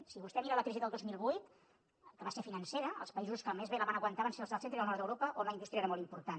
si vostè mira la crisi del dos mil vuit que va ser financera els països que més bé la van aguantar van ser els del centre i el nord d’europa on la indústria era molt important